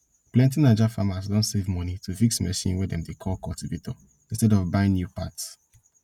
plenty naija farmers don save money to fix machine wey dem dey call cultivator instead of buying new parts